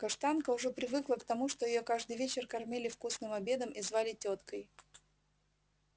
каштанка уже привыкла к тому что её каждый вечер кормили вкусным обедом и звали тёткой